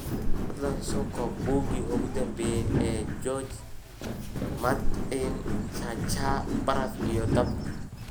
fadlan soo koob buuggii ugu dambeeyay ee George r. r. martin cha cha baraf iyo dab